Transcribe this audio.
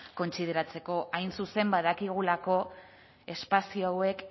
kontsideratzeko hain zuzen badakigulako espazio hauek